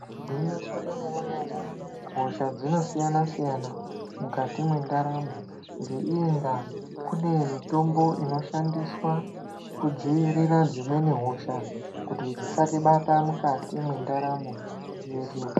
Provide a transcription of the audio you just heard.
Gwinyiso remene mene hosha dzinosiyana siyana mukati mendaramo ngeiyi nda kune mitombo inoshandiswa kudzivirira dzimweni hosha kuti dzisatibata mukati mwendaramo yedu.